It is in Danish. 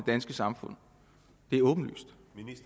danske samfund det er åbenlyst